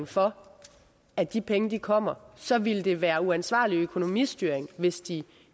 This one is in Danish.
for at de penge kommer så ville det være uansvarlig økonomistyring hvis de